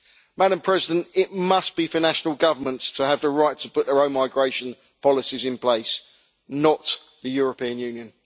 Madam President, it must be for national governments to have the right to put their own migration policies in place, not the European Union.